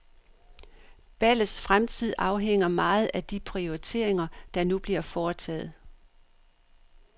Ballets fremtid afhænger meget af de prioriteringer, der nu bliver foretaget.